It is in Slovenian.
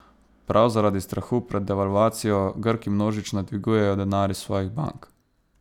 Prav zaradi strahu pred devalvacijo Grki množično dvigujejo denar iz svojih bank.